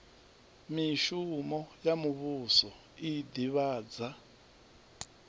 mishumo ya muvhuso i ḓivhadza